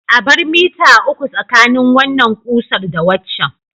A bar mita uku tsakanin wannan ƙusar da waccan.